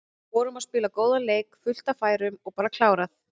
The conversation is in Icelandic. Vorum að spila góðan leik, fullt af færum og bara klárað.